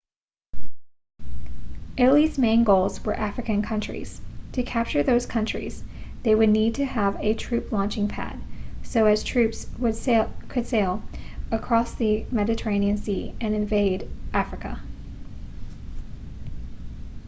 italy's main goals were african countries to capture those countries they would need to have a troop launching pad so as troops could sail across the mediterranean sea and invade africa